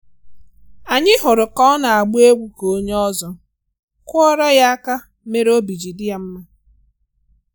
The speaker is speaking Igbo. Anyị hụrụ ka ọ na-agba egwu ka onye ọ̀zọ́, kụọrô ya aka mere obi ji dị ya mma